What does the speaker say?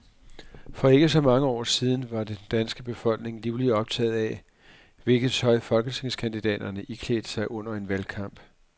For ikke så mange år siden var den danske befolkning livligt optaget af, hvilket tøj folketingskandidaterne iklædte sig under en valgkamp.